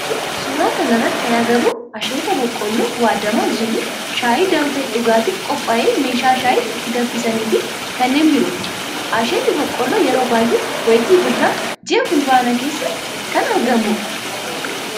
Suuraa kana irratti kana agarru asheeta boqqoolloo waaddamaa jiru, shaayii danfee dhugaatif qophaa'e, meeshaa shaayii itti danfisanii fi kanneen birooti. Asheenni boqqoolloo yeroo baayyee wayitii birraa ji'a fulbaana keessa kan argamudha.